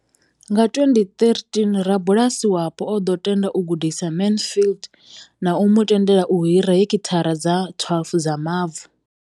Nga 2013, rabulasi wapo o ḓo tenda u gudisa Mansfield na u mu tendela u hira heki thara dza 12 dza mavu.